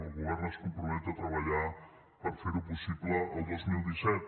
el govern es compromet a treballar per fer ho possible el dos mil disset